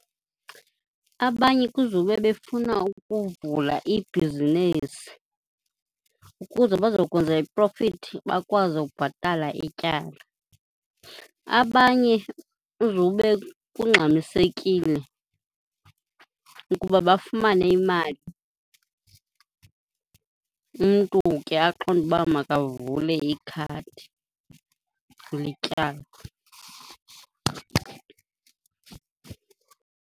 Abanye kuzube befuna ukuvula ibhizinisi ukuze bazokwenza iprofithi bakwazi ukubhatala ityala. Abanye kuzube kungxamisekile ukuba bafumane imali, umntu ke aqonde uba makavule ikhadi letyala.